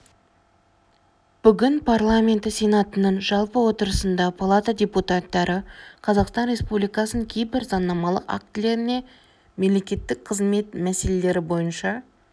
бүгін парламенті сенатының жалпы отырысында палата депутаттары қазақстан республикасының кейбір заңнамалық актілеріне мемлекеттік қызмет мәселелері бойынша